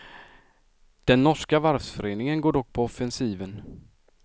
Den norska varvsföreningen går dock på offensiven.